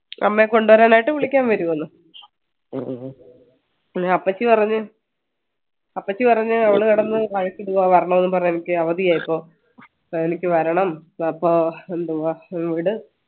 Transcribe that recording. അമ്മയെ കൊണ്ടുവരാൻ ആയിട്ട് വിളിക്കാൻ വരുമെന്ന് പിന്നെ അപ്പച്ചി പറഞ്ഞു അപ്പച്ചി പറഞ്ഞ അവള് കിടന്ന് കരച്ചിലാ വരണംന്നു പറഞ്ഞെ എനിക്ക് അവധിയാ ഇപ്പൊ എനിക്ക് വരണം അപ്പോ എന്തുവാ